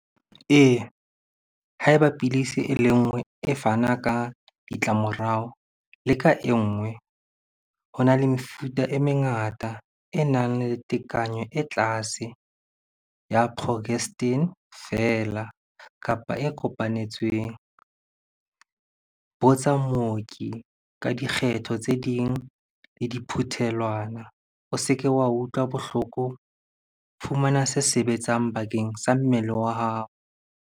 Ee, ha eba pidisi e le nngwe e fana ka ditlamorao, leka e nngwe. Ho na le mefuta e mengata e nang le tekanyo e tlase ya fela, kapa e kopanetsweng. Botsa mooki ka dikgetho tse ding le diphuthelwana. O se ke wa utlwa bohloko. Fumana se sebetsang bakeng sa mmele wa hao.